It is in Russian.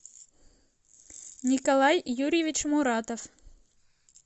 николай юрьевич муратов